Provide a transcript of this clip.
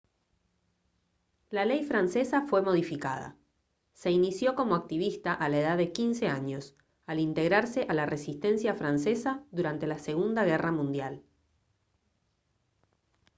la ley francesa fue modificada se inició como activista a la edad de 15 años al integrarse a la resistencia francesa durante la segunda guerra mundial